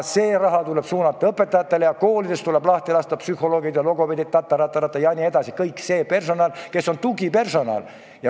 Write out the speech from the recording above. See raha tuleb suunata õpetajatele ja koolidest tuleb lahti lasta psühholoogid ja logopeedid jne – kogu tugipersonal.